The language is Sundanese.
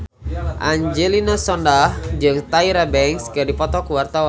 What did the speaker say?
Angelina Sondakh jeung Tyra Banks keur dipoto ku wartawan